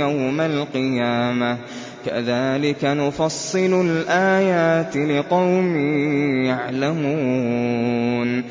يَوْمَ الْقِيَامَةِ ۗ كَذَٰلِكَ نُفَصِّلُ الْآيَاتِ لِقَوْمٍ يَعْلَمُونَ